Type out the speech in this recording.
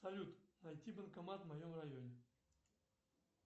салют найти банкомат в моем районе